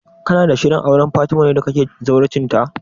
Kana da shirin auren Fatima ne da kake zawarcin ta?